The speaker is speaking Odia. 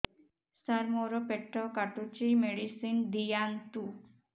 ସାର ମୋର ପେଟ କାଟୁଚି ମେଡିସିନ ଦିଆଉନ୍ତୁ